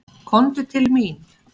Komdu til mín.